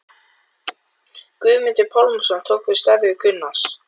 Guðmundur Pálmason tók við starfi Gunnars